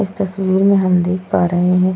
इस तस्वीर में हम देख पा रहे हैं --